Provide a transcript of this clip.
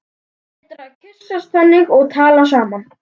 Það er betra að kyssast þannig og tala saman.